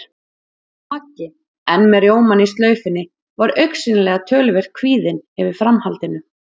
Maggi, enn með rjómann í slaufunni, var augsýnilega töluvert kvíðinn yfir framhaldinu.